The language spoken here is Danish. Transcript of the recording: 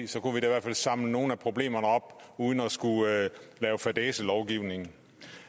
så kunne vi da i hvert fald samle nogle af problemerne op uden at skulle lave fadæselovgivning